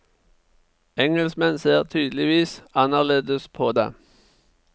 Engelskmenn ser tydeligvis annerledes på det.